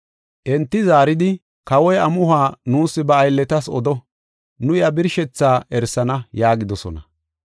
Enti zaaridi, “Kawoy amuhuwa nuus ba aylletas odo; nu iya birshethaa erisana” yaagidosona.